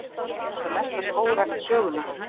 Er þetta mesta skógrækt sögunnar